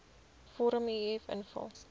vorm uf invul